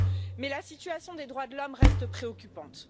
Mais la situation des droits de l'homme reste préoccupante.